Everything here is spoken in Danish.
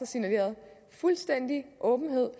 signaleret fuldstændig åbenhed